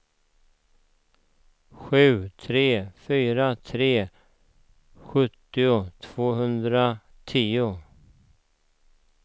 sju tre fyra tre sjuttio tvåhundratio